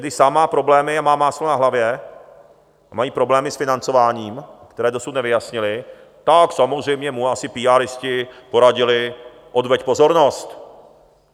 Když sám má problémy a má máslo na hlavě a mají problémy s financováním, které dosud nevyjasnili, tak samozřejmě mu asi píáristi poradili: Odveď pozornost!